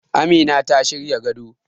Amina ta shirya gado